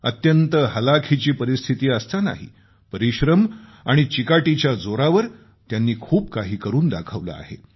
अत्यंत हलाखीची परिस्थिती असतानाही परिश्रम आणि चिकाटीच्या जोरावर त्यांनी खूप काही करून दाखवलं आहे